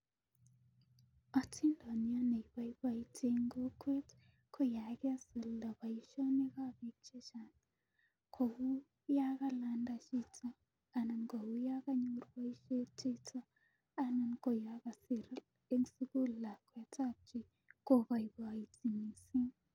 Otindoniot ne ipoipoti en kokwet ko ya kesulda poishonik chepo piik che chang',kou ya kalanda chito anan ko kou ya kanyor poishet anan ko ya kasir eng' sukul lakwet ap chi kopaipaiti missing'.